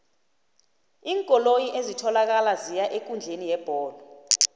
iinkoloyi ezitholakala ziya eenkundleni yebholo